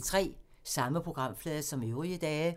Samme programflade som øvrige dage